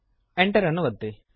Enter ಅನ್ನು ಒತ್ತಿರಿ